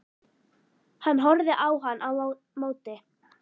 Hann horfði á hann á móti.